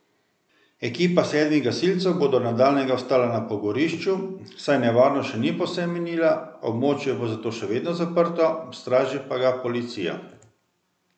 Ekipa sedmih gasilcev bo do nadaljnjega ostala na pogorišču, saj nevarnost še ni povsem minila, območje bo zato še vedno zaprto, straži pa ga policija.